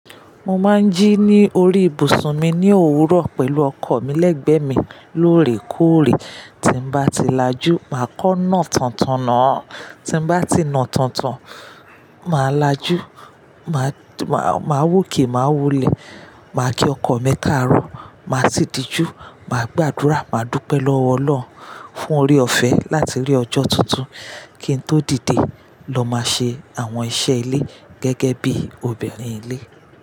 Mo máa ń jí ní orí ìbùsùn mi ní òwúrọ̀ pẹ̀lú ọkọ̀ mi lẹ́gbẹ̀ẹ́ mi lóòrè kóòrè, tí bá ti lajú, màá kọ́ náà tántan náà, tí bá ti nà tántan, màá lajú, màá wòkè, màá wulẹ̀, màá ki ọkọ̀ mi káàárọ̀, màá sì dijú, màá gbàdúrà, màá dúpẹ́ lọ́wọ́ Ọlọ́run fún orí ọ̀fẹ́ láti rí ọjọ́ tuntun kí n tó dìde lọ máa ṣe àwọn iṣẹ́ ilé gẹ́gẹ́ bí obìnrin ilé.